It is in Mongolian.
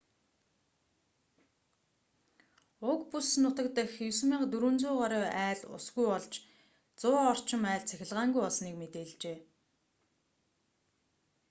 уг бүс нутаг дахь 9400 гаруй айл усгүй болж 100 орчим айл цахилгаангүй болсныг мэдээлжээ